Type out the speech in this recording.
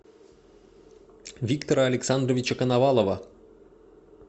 виктора александровича коновалова